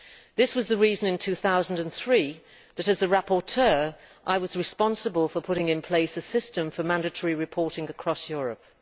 This was the reason in 2003 that, as the rapporteur, I was responsible for putting in place a system for mandatory reporting across Europe.